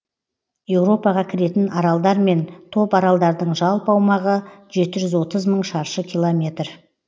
еуропаға кіретін аралдар мен топаралдардың жалпы аумағы жүті жүз отыз мың шаршы километр